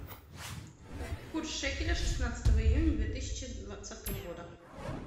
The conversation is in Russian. курс шекеля шестнадцатого июня две тысячи двадцатого года